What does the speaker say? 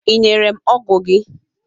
Ị nyere m ọgụ gị?